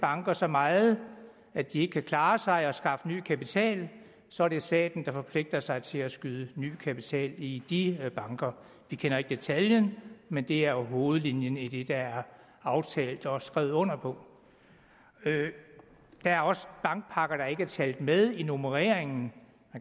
banker så meget at de ikke kan klare sig og skaffe ny kapital så er det staten der forpligter sig til at skyde ny kapital i de banker vi kender ikke detaljerne men det er hovedlinjen i det der er aftalt og skrevet under på der er også bankpakker der ikke er talt med i nummereringen